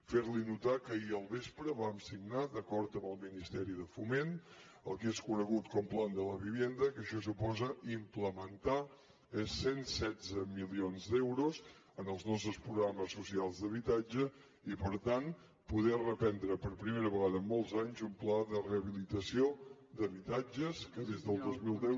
fer li notar que ahir al vespre vam signar d’acord amb el ministeri de foment el que és conegut com a plan de la vivienda que això suposa implementar eh cent i setze milions d’euros en els nostres programes socials d’habitatge i per tant poder reprendre per primera vegada en molts anys un pla de rehabilitació d’habitatges que des del dos mil deu